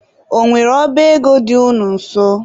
Ọ nwere ọba ego dị unu nso?